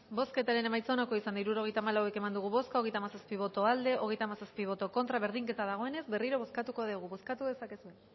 bozketaren emaitza onako izan da hirurogeita hamalau eman dugu bozka hogeita hamazazpi boto aldekoa treinta y siete contra berdinketa dagoenez berriro bozkatu dugu bozkatu dezakezue